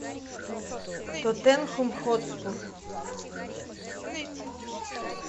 тоттенхэм хотспур